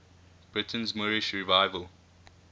britain's moorish revival